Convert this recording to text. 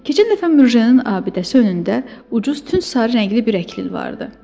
Keçən dəfə Mürjenin abidəsi önündə ucuz tünd sarı rəngli bir əklil vardı.